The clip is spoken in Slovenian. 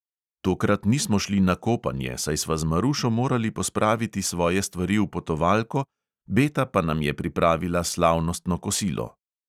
Tokrat nismo šli na kopanje, saj sva z marušo morali pospraviti svoje stvari v potovalko, beta pa nam je pripravila slavnostno kosilo.